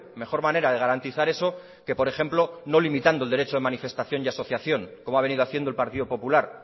mejor manera de garantizar eso que por ejemplo no limitando el derecho de manifestación y asociación como ha venido haciendo el partido popular